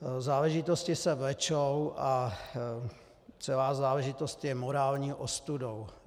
Záležitosti se vlečou a celá záležitost je morální ostudou.